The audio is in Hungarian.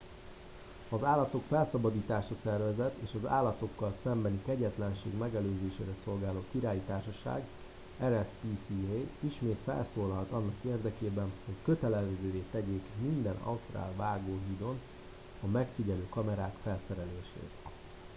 az állatok felszabadítása szervezet és az állatokkal szembeni kegyetlenség megelőzésére szolgáló királyi társaság rspca ismét felszólalt annak érdekében hogy kötelezővé tegyék minden ausztrál vágóhídon a megfigyelő kamerák felszerelését